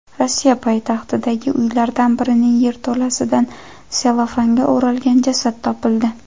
Rossiya poytaxtidagi uylardan birining yerto‘lasidan sellofanga o‘ralgan jasad topildi.